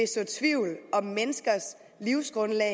så tvivl om menneskers livsgrundlag